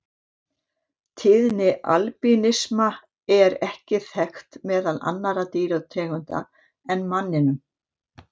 Tíðni albínisma er ekki þekkt meðal annarra dýrategunda en manninum.